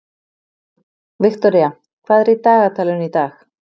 Viktoría, hvað er í dagatalinu í dag?